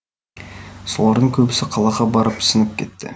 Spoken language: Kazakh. солардың көбісі қалаға барып сіңіп кетті